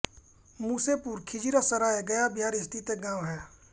मुसेपुर खिज़िरसराय गया बिहार स्थित एक गाँव है